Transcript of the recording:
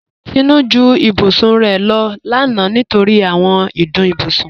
Tinú ju ìbùsùn rẹ̀ lọ lána nítorí àwọn ìdùn ìbùsùn.